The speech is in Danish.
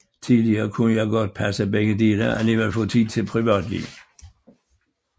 Tidligere kunne jeg godt passe begge dele og alligevel få tid til privatliv